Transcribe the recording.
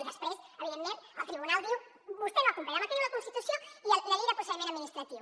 i després evidentment el tribunal diu vostè no ha complert amb el que diu la constitució i la llei de procediment administratiu